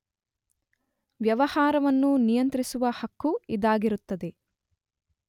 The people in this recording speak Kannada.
ವ್ಯವಹಾರವನ್ನು ನಿಯಂತ್ರಿಸುವ ಹಕ್ಕು ಇದಾಗಿರುತ್ತದೆ.